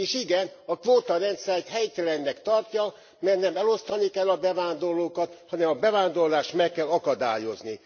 És igen, a kvóta rendszert helytelennek tartja, mert nem elosztani kell a bevándorlókat, hanem a bevándorlást meg kell akadályozni.